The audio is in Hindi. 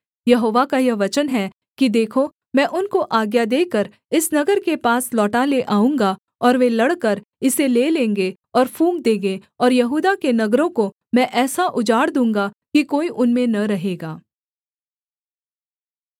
यहोवा का यह वचन है कि देखो मैं उनको आज्ञा देकर इस नगर के पास लौटा ले आऊँगा और वे लड़कर इसे ले लेंगे और फूँक देंगे और यहूदा के नगरों को मैं ऐसा उजाड़ दूँगा कि कोई उनमें न रहेगा